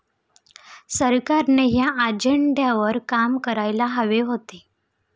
सरकारने या अजेंड्यावर काम करायला हवे होते.